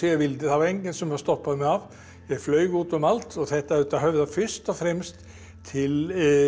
vildi það var enginn sem stoppaði mig af ég flaug út um allt og þetta auðvitað höfðar fyrst og fremst til